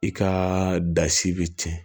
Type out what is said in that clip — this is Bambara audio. I ka da si be tiɲɛ